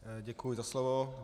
Děkuji za slovo.